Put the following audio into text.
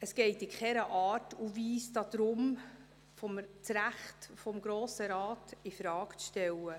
Es geht in keiner Art und Weise darum, das Recht des Grossen Rates infrage zu stellen.